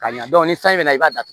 Ka ɲa ni sanji bɛ na i b'a datugu